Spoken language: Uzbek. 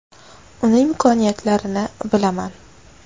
Uni imkoniyatlarini bilaman.